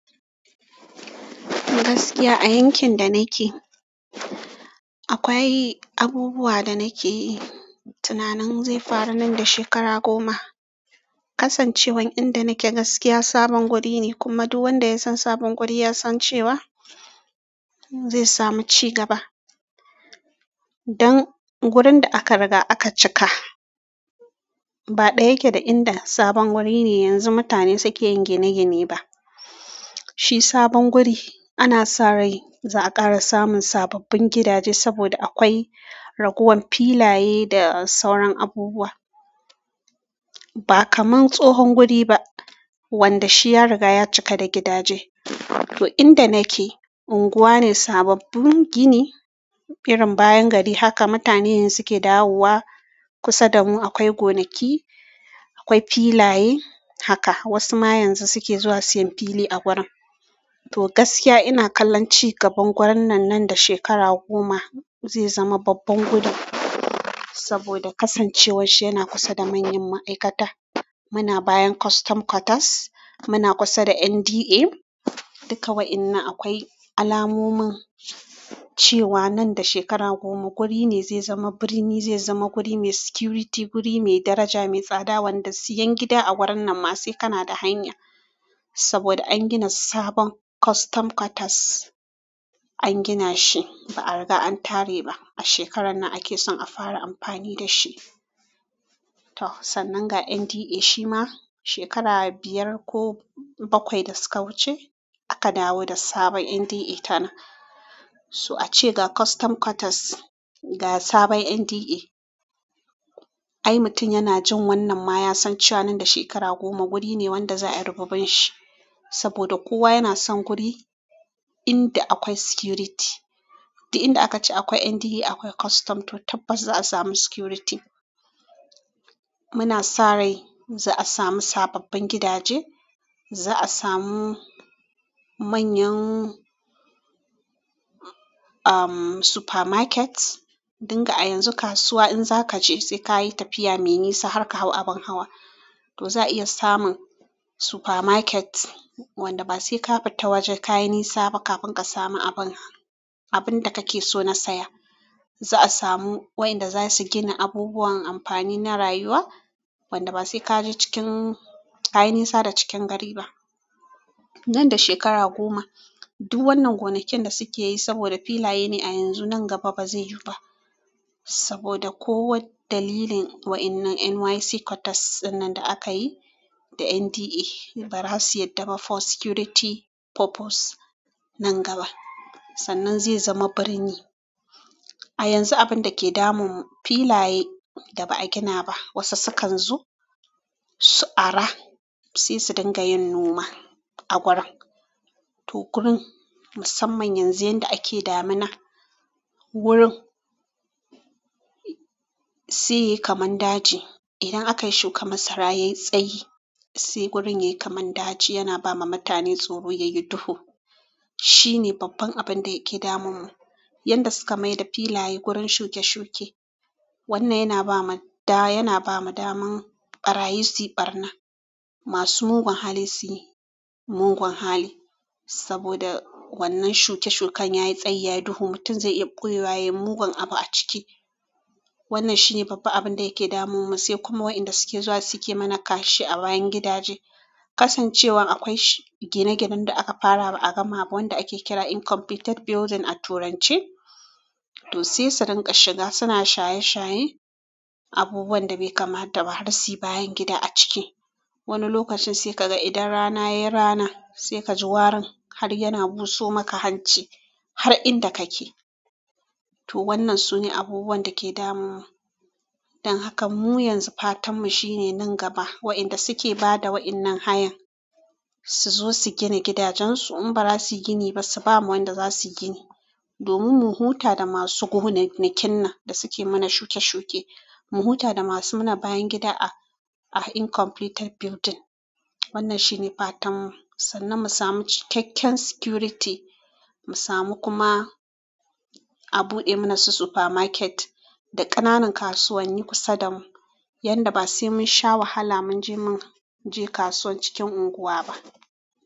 Gaskiya a yankin da nake akwai abubuwa da nake yi tunanin zai faru nan da shekara goma. Kasancewan inda nake gaskiya sabon guri ne kuma duk wanda ya san sabon guri ya san cewa zai samu cigaba. Ɗan wurin da aka riga aka cika ba ɗaya yake da inda sabon wuri ne yanzu mutane suke yin gine gine ba. Shi sabon guri ana sa rai za a ƙara samun sababbin gidaje saboda akwai raguwar filaye da sauran abubuwa ba kaman tsohon guri ba wanda shi ya riga ya cika da gidaje to inda nake unguwa ne sababbin gini birin bayan gari haka mutane suke dawowa kusa damu akwai gonaki akwai filaye haka wasu ma yanzu suke zuwa siyan fili a wurin. To gaskiya ina kallon cigaban wurin nan nan da shekara goma zai zama babban guri saboda kasancewar shi yana kusa da manyan ma'aikata. Muna bayan custom quarters. Muna kusa da NDA duka wayannan akwai alamomin cewa nan da shekara goma wuri ne zai zama birni zai zama wuri mai security wuri mai daraja mai tsada wanda siyan gida a wurin nan ba sai kana da hanya saboda an gina sabon custom quarters an gina shi ba a riga an tare ba a shekarar nan ake son a fara amfani da shi. To sannan ga NDA shi ma shekara biyar ko bakwai da suka wuce aka dawo da sabon NDA ta na so a ce ga custom quarters ga sabon NDA ai mutum yana jin wannan ma ya san cewa nan da shekara goma wuri ne wanda za a yi rububin shi saboda kowa yana son guri inda akwai security. Duk inda aka ci akwai NDA akwai custom to tabbas za a samu security. Muna sa rai za a samu sababbin gidaje za a samu manyan umm supermarket dinga a yanzu kasuwa in za ka je sai ka yi tafiya mai nisa har ka hau abin hawa to za a iya samun supermarket wanda ba sai ka fita waje ka yi nisa ba kafin ka samu abin abin da kake so na saya. Za a samu wa inda za su gina abubuwan amfani na rayuwa wanda ba sai ka je cikin ka yi nisa da cikin gari ba. Nan da shekara goma duk wannan gonaken da suke yi saboda filaye ne a yanzu nan gaba ba zai yiwu ba saboda kowane dalilin wa'innan NYC quarters ɗinnan da aka yi da NDA ba za su yarda ba for security purpose nan gaba. Sannan zai zama birni a yanzu abin da ke damun mu filaye da ba a gina ba wasu sukan zo su ara sai su dinga yin noma a gurin. To gurin musamman yanzu inda ake damina wurin sai yayi kaman daji idan aka yi shuka masara yayi tsayi sai gurin yayi kaman daji yana ba ma mutane tsoro yayi duhu. Shi ne babban abin da yake damun mu yanda suka mai da filaye gurin shuke shuke. Wannan yana ba ma da yana ba mu daman ɓarayi su yi ɓarna masu mugun hali su yi mugun hali saboda wannan shuke shukan yayi tsayi yayi duhu mutum zai iya ɓoye wa yayi mugun abu a ciki. Wannan shine babban abin da yake damun mu sai kuma wayanda suke zuwa suke mana kashi a bayan gida. Kasancewan akwai gine ginen da aka fara ba a gama ba wanda ake kira incompleted building a turanche to sai su dinga shiga suna shaye shaye abubuwan da bai kama dabba har sai bayan gida a cike. Wani lokacin sai ka ga idan rana yayi rana sai ka ji warin har yana buso maka hanci har inda kake. To wannan sune abubuwan da ke damun mu don haka mu yanzu fatan mu shine nan gaba wa inda suke ba da wa'innan hayan su zo su gina gidajen su in ba za su gina ba su bamu wanda za su gina domin mu huta da masu gona kinna da suke mana shuke shuke. Mu huta da masu mana bayan gida a incompleted building. Wannan shi ne fatan mu sannan mu samu cikakken security mu samu kuma a buɗe mana su supermarket da ƙananan kasuwanni kusa damu yanda ba sai mun sha wahala mun je mun je kasuwar cikin unguwa ba.